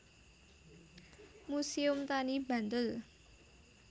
Muséum Tani Bantul